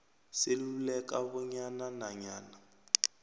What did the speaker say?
seluleka bona nanyana